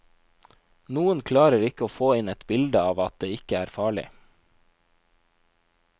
Noen klarer ikke å få inn et bilde av at det ikke er farlig.